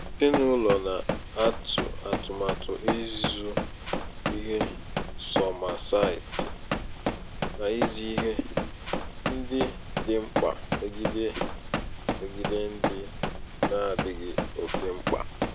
ezinaụlọ na-atụ atụmatụ ịzụ ihe sọma site n'ịzụ ihe. ndị dị mkpa megide megide ndị n'adịghị ókè mkpa.